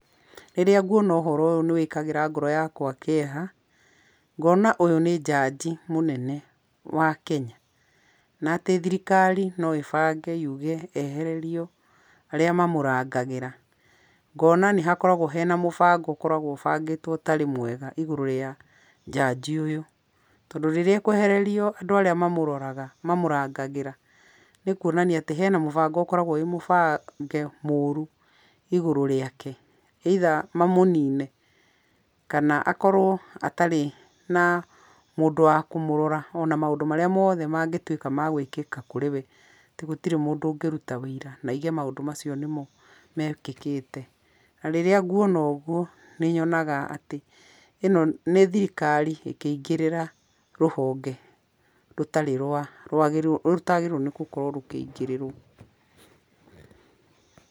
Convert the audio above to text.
Rĩrĩa nguona ũhoro ũyũ nĩ wĩkagĩra ngoro yakwa kĩeha, ngona ũyũ nĩ njanji mũnene wa Kenya, na atĩ thirikari no ibange yuge ehererio arĩa mamũrangagĩra, ngona nĩ hakoragwo hena mũbango ũkoragwo ũbangĩtwo ũtarĩ mwega igũrũ rĩa njanji ũyũ, tondũ rĩrĩa akũehererio andũ arĩa mamũrangagĩra nĩ kuonania hena mũbango ũkoragwo wĩ mũbange mũru igũrũ rĩake either mamũnine, kana akorwo atarĩ na mũndũ wa kũmũrora ona maũndũ marĩa mothe mangĩtuĩka magwĩkĩka kũrĩ we atĩ gũtirĩ mũndũ ũngĩruta ũira na auge maũndũ macio nimo mekĩkĩte, na rĩrĩa nguona ũguo, nĩnyonaga atĩ ĩno nĩ thirikari ĩkĩingĩrĩra rũhonge rũtarĩ rwa rũtagĩrĩirwo nĩ gũkorwo rũkĩingĩrĩrwo.